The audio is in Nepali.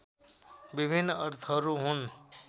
विभिन्न अर्थहरू हुन्